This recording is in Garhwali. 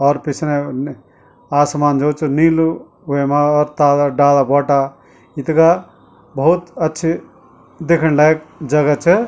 और पिछनै आसमान जु च निलु वेमा तालक डाला ब्वाटा इतगा भौत अच्छी दिखण लायक जगा च।